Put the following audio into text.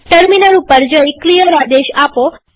terminal પર જઈ clear આદેશ આપો